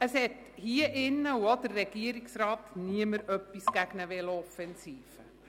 Hier im Grossen Rat und auch im Regierungsrat hat niemand etwas gegen eine Velo-Offensive.